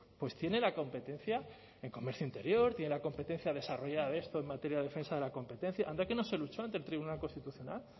pues tiene la competencia en comercio interior tiene la competencia desarrollada de esto en materia de defensa de la competencia anda que no se luchó ante el tribunal constitucional